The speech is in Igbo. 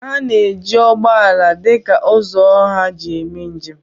A na-eji ụgbọ ala dị ka ụzọ ọha hi eme njem